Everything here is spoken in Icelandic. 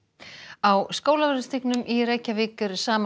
á Skólavörðustíg í Reykjavík eru saman